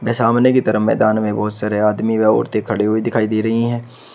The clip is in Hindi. सामने की तरफ मैदान में बहुत सारे आदमी व औरतें खड़े हुए दिखाई दे रही हैं।